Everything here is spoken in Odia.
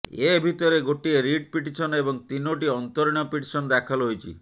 ଏ ଭିତରେ ଗୋଟିଏ ରିଟ୍ ପିଟିସନ୍ ଏବଂ ତିନୋଟି ଅନ୍ତରୀଣ ପିଟିସନ୍ ଦାଖଲ ହୋଇଛି